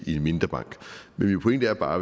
i en mindre bank men min pointe er bare